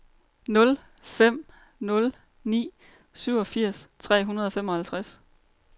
nul fem nul ni syvogfirs tre hundrede og femoghalvtreds